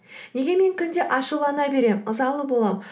неге мен күнде ашулана беремін ызалы боламын